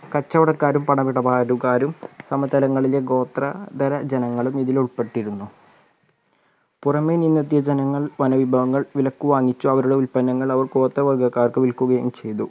കച്ചവടക്കാരും പണമിടപാടുകാരും സമതലങ്ങളിലെ ഗോത്രതര ജനങ്ങളും ഇതിൽ ഉൾപ്പെട്ടിരുന്നു പുറമെ നിന്ന് എത്തിയ ജനങ്ങൾ വനവിഭവങ്ങൾ വിലക്കു വാങ്ങിച്ചു അവരുടെ ഉൽപന്നങ്ങൾ അവർ ഗോത്രവർഗ്ഗക്കാർക്ക് വിൽക്കുകയും ചെയ്‌തു